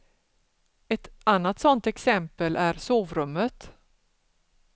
Ett annat sånt exempel är sovrummet.